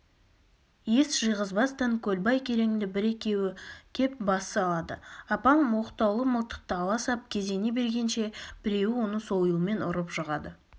ес жиғызбастан көлбай кереңді бір-екеуі кеп бас салады апам оқтаулы мылтықты ала сап кезене бергенше біреуі оны сойылмен ұрып жығады